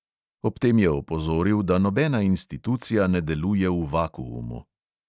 Ob tem je opozoril, da nobena institucija ne deluje v vakuumu.